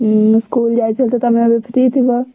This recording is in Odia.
ଉଁ school ଯାଇଥିଲେ ତ ତମେ ଏବେ free ଥିବ?